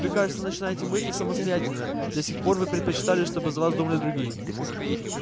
вы кажется начинаете мыслить самостоятельно до сих пор вы предпочитали чтобы за вас думали другие